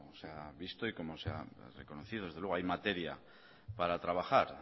se ha visto y como se ha reconocido desde luego hay materia para trabajar